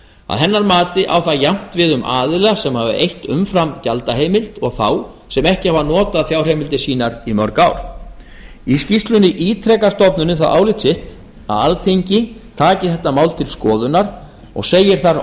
að hennar mati á það jafnt við um aðila sem hafa eytt umfram gjaldaheimild og þá sem ekki hafa notað fjárheimildir sínar í mörg ár í skýrslunni ítrekar stofnunin það álit sitt að alþingi taki þetta mál til skoðunar og segir þar